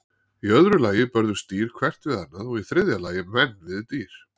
Í öðru lagi börðust dýr hvert við annað og í þriðja lagi menn við dýr.